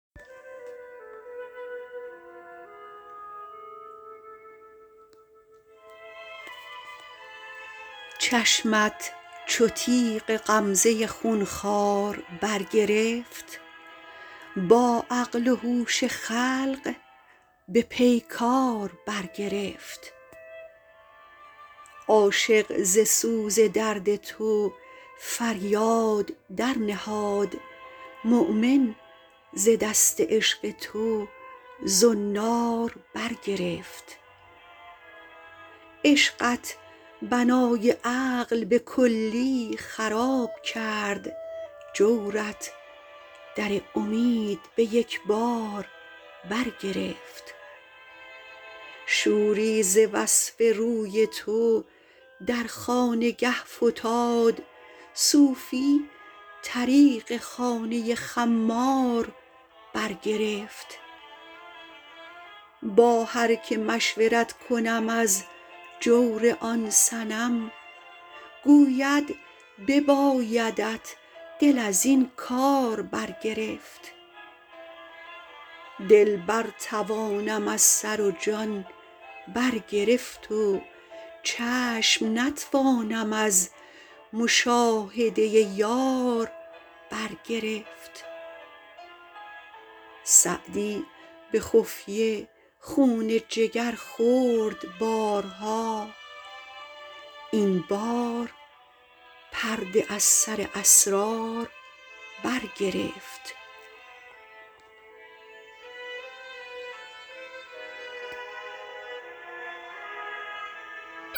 چشمت چو تیغ غمزه خون خوار برگرفت با عقل و هوش خلق به پیکار برگرفت عاشق ز سوز درد تو فریاد درنهاد مؤمن ز دست عشق تو زنار برگرفت عشقت بنای عقل به کلی خراب کرد جورت در امید به یک بار برگرفت شوری ز وصف روی تو در خانگه فتاد صوفی طریق خانه خمار برگرفت با هر که مشورت کنم از جور آن صنم گوید ببایدت دل از این کار برگرفت دل برتوانم از سر و جان برگرفت و چشم نتوانم از مشاهده یار برگرفت سعدی به خفیه خون جگر خورد بارها این بار پرده از سر اسرار برگرفت